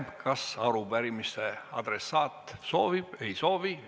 Kas arupärimise adressaat soovib sõna võtta?